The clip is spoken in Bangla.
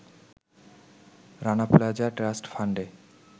রানা প্লাজা ট্রাস্ট ফান্ডে